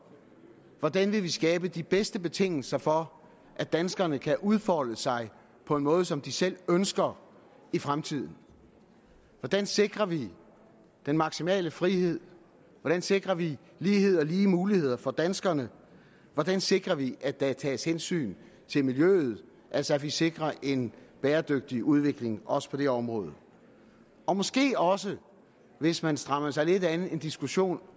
hvordan vil vi skabe de bedste betingelser for at danskerne kan udfolde sig på en måde som de selv ønsker i fremtiden hvordan sikrer vi den maksimale frihed hvordan sikrer vi lighed og lige muligheder for danskerne hvordan sikrer vi at der tages hensyn til miljøet altså at vi sikrer en bæredygtig udvikling på også det område og måske også hvis man strammede sig lidt an en diskussion